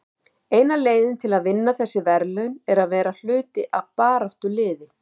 Eina leiðin til að vinna þessi verðlaun er að vera hluti af baráttuliði.